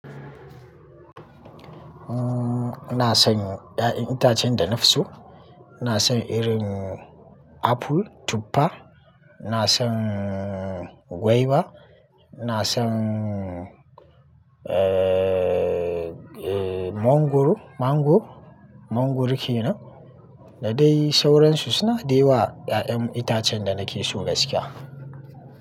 Umm, ina son 'ya'yan itacen da na fi so. Ina son irin aful, tuppa, ina son gwaiwa, ina son, ee, ee, mongoro, mango, mongoro ke nan. Da dai sauransu suna dayawa 'ya'yan itacen da na ke so gaskiya.